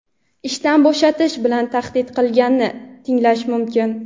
ishdan bo‘shatish bilan tahdid qilganini tinglash mumkin.